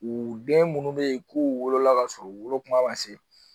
U den munnu be yen k'u wolola ka sɔrɔ u wolo kuma ma se